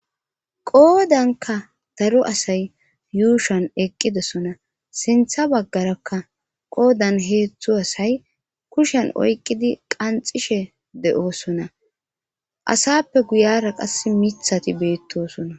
Qoodanka daro asay yuushan eqqidesona sintha baggarakka qoodan heedzdzu asay kushen oyqqidi qanxishe de'oosona asappe guyara qas mithati beettoosona